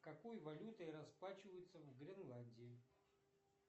какой валютой расплачиваются в гренландии